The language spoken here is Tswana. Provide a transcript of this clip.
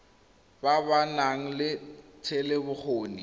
ba ba nang le thetelelobokgoni